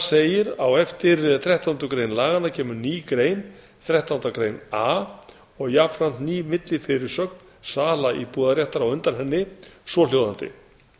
segir á eftir þrettándu grein laganna kemur ný grein þrettánda grein a og jafnframt ný millifyrirsögn sala íbúðarréttar á undan henni svohljóðandi